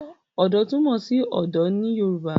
Ọ̀dọ́ túmọ̀ sí ọ̀dọ̀ ní Yorùbá